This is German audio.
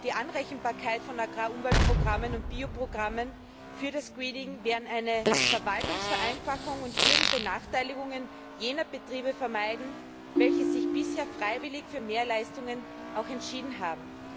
Die Anrechenbarkeit von Agrar Umweltprogrammen und Bioprogrammen für das Greening wären eine Verwaltungsvereinfachung und würden Benachteiligungen jener Betriebe vermeiden, die sich bisher freiwillig für Mehrleistungen entschieden haben.